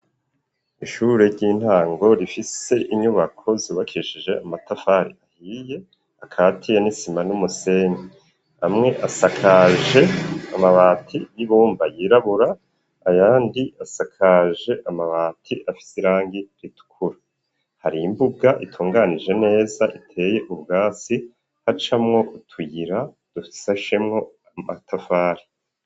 Ishure ry'intango, rifise inyubako zubakishije amatafari ahiye ,akatiye n'isima n'umusenyi, amwe asakaje amabati y'ibumba yirabura ,ayandi asakaje amabati afise irangi ritukura, hari imbuga itunganije neza iteye ubwatsi, hacamwo utuyira dusashemwo amatafari.